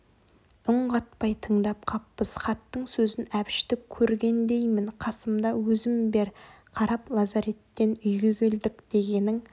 үн қатпай тыңдап қаппыз хаттың сөзін әбішті көргендеймін қасымда өзім бер қарап лазареттен үйге келдік дегенің